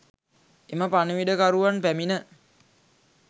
එම පණිවිඩකරුවන් පැමිණ